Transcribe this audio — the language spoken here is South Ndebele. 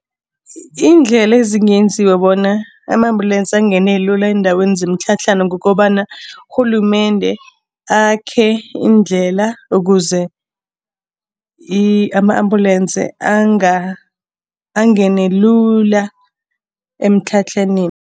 Iindlela ezingenziwa bona ama-ambulance angene lula eendaweni zemitlhatlhana kukobana urhulumende akhe iindlela ukuze ama-ambulance angene lula emitlhatlhaneni.